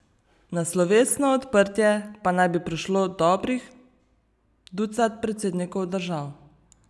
Na slovesno odprtje pa naj bi prišlo dobrih ducat predsednikov držav.